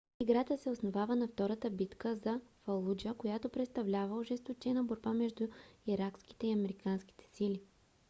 играта се основава на втората битка за фалуджа която представлява ожесточена борба между иракските и американските сили